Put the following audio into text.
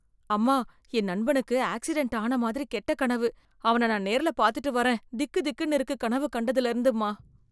அம்மா என் நண்பணுக்கு ஆக்ஸிடெண்ட் ஆன மாதிரி கெட்ட கனவு, அவன நான் நேர்ல பாத்திட்டுவறன் திக்கு திக்குனு இருக்கு கனவு கண்டதுல இருந்து அம்மா